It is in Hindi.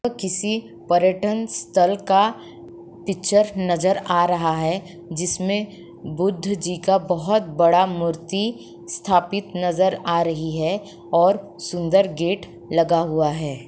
किसी पर्यटन स्थल का पिक्चर नजर आ रहा है जिसमें बुद्ध जी का बहुत बड़ा मूर्ति स्थापित नजर आ रही है और सुंदर गेट लगा हुआ है।